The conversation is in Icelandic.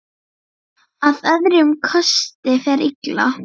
Að öðrum kosti fer illa.